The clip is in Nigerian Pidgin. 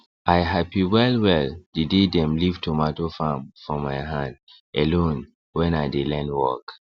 i happy well well the day dem leave tomato farm for my hand alone when i dey learn work